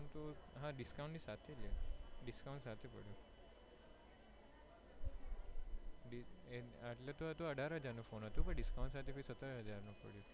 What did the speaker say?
નાં discount સાથે, discount ની સાથે પડ્યો એમ તો અઢાર હજાર નો ફોન હતો, એ તો discount સાથે સત્તર હજાર માં પડ્યો.